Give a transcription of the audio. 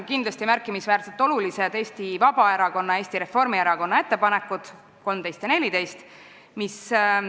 Kindlasti on märkimisväärselt olulised Eesti Vabaerakonna ja Eesti Reformierakonna ettepanekud nr 13 ja 14.